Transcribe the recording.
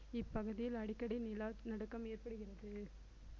இப்பகுதியில் அடிக்கடி நிலநடுக்கம் ஏற்படுகிறது